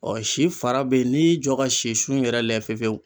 si fara be ye n'i y'i jɔ ka sisun yɛrɛ layɛ fefewu